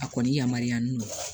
A kɔni yamaruyalen don